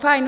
Fajn.